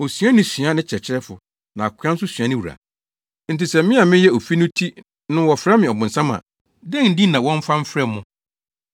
Osuani sua ne kyerɛkyerɛfo, na akoa nso sua ne wura. Enti sɛ me a meyɛ ofi no ti no wɔfrɛ me ‘Ɔbonsam’ a, dɛn din na wɔremfa mfrɛ mo!